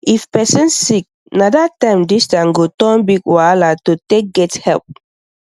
if person sick na that time distance go turn big wahala to take get help